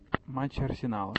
матчи арсенала